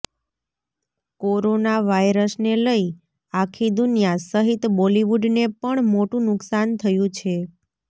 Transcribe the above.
corona વાયરસને લઈ આખી દુનિયા સહિત બોલિવૂડને પણ મોટું નુકસાન થયું છે